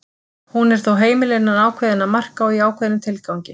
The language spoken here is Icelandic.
Hún er þó heimil innan ákveðinna marka og í ákveðnum tilgangi.